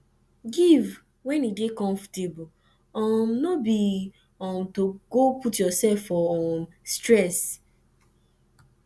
giv wen e dey comfortable um no bi um to go put urself for um stress